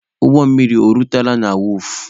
Ụgbọ mmiri o rutela na wọọfụ?